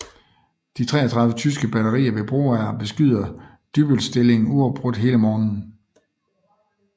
De 33 tyske batterier ved Broager beskyder Dybbølstillingen uafbrudt hele morgenen